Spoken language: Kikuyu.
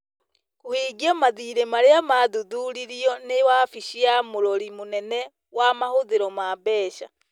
kũhingia mathiirĩ marĩa maathuthuririo nĩ wabici ya mũrori mũnene wa mahũthĩro ma mbeca.